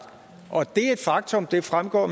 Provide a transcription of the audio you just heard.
og det er et faktum det fremgår